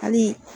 Hali